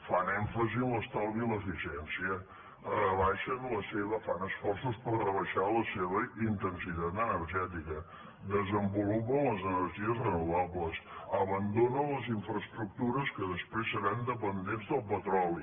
fan èmfasi en l’estalvi i l’eficiència rebaixen fan esforços per rebaixar la seva intensitat energètica desenvolupen les energies renovables abandonen les infraestructures que després seran dependents del petroli